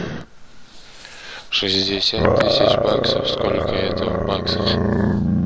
шестьдесят тысяч баксов сколько это в баксах